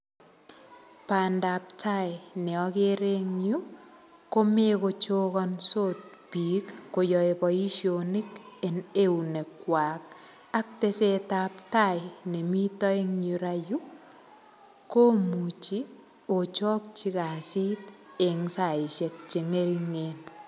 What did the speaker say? Bandaptai ne agere en yu, komeche kochokonasot biik koyae bosionik en eunek kwak. Ak tesetaptai nemite en yurayu, komuchi ochakchi kasit eng saishek che ng'ering'en.